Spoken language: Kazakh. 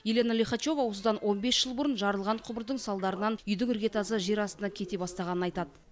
елена лихачева осыдан он бес жыл бұрын жарылған құбырдың салдарынан үйдің іргетасы жер астына кете бастағанын айтады